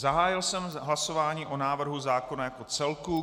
Zahájil jsem hlasování o návrhu zákona jako celku.